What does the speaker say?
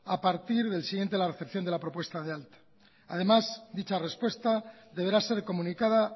a partir del siguiente de la recepción de la propuesta de alta además dicha respuesta deberá ser comunicada